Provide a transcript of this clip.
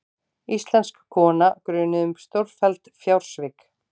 Íslensk kona grunuð um stórfelld fjársvik